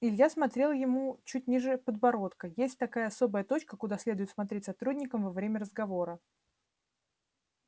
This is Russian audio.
илья смотрел ему чуть ниже подбородка есть такая особая точка куда следует смотреть сотрудникам во время разговора